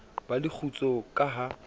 ba le kgutso ka ha